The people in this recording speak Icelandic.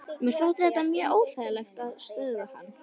Mér þótti þetta mjög óþægilegt og stöðvaði hann.